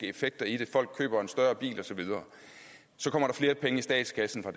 effekter i det folk køber en større bil osv og så kommer der flere penge i statskassen på